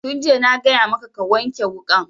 Tun jiya na gaya maka ka wanke wukan